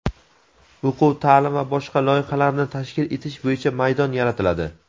o‘quv-taʼlim va boshqa loyihalarni tashkil etish bo‘yicha maydon yaratiladi.